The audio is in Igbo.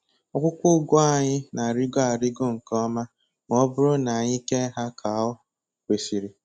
Akwụkwọ ụgụ anyị na-arịgo arịgo nke ọma ma ọ bụrụ na anyị kee ha ka o kwesịrị.